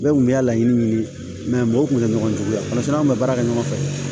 Bɛɛ kun bɛ ka laɲini ɲini mɛ mɔgɔ kun tɛ ɲɔgɔn jugu ye n'an bɛ baara kɛ ɲɔgɔn fɛ